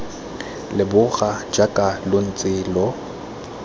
leboga jaaka lo ntse lo